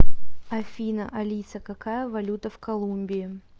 афина алиса какая валюта в колумбии